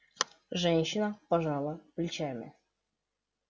женщина пожала плечами